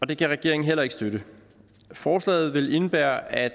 det kan regeringen heller ikke støtte forslaget vil indebære at